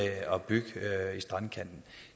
at bygge i strandkanten